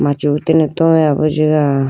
machi utene towaya bi jiga.